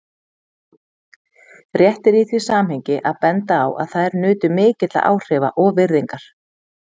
Rétt er í því samhengi að benda á að þær nutu mikilla áhrifa og virðingar.